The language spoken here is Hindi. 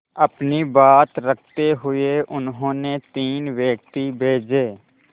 अपनी बात रखते हुए उन्होंने तीन व्यक्ति भेजे